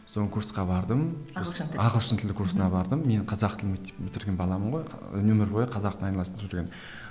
курсқа бардым ағылшын тіліне ағылшын тілі курсына бардым мен қазақ тілі мектеп бітірген баламын ғой өмір бойы қазақ тілімен айналысып жүрген